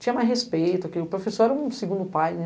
Tinha mais respeito, porque o professor era um segundo pai, né?